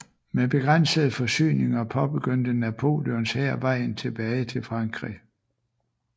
Med begrænsede forsyninger påbegyndte Napoleons hær vejen tilbage til Frankrig